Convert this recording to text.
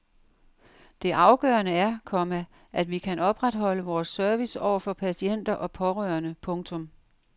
Det afgørende er, komma at vi kan opretholde vores service over for patienter og pårørende. punktum